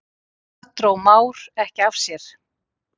Þar dró Már ekki af sér.